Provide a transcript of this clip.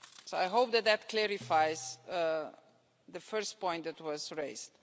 I hope that clarifies the first point that was raised.